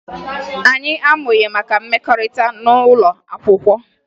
Anyị amụghị maka mmekọrịta n'ụlọ akwụkwọ